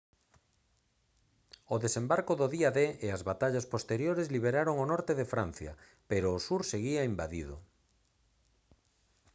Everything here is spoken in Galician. o desembarco do día d e as batallas posteriores liberaron o norte de francia pero o sur seguía invadido